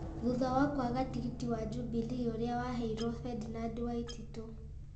thutha wa kwaga tigiti wa Jubilee ũrĩa waheirwo Ferdinand Waititũ.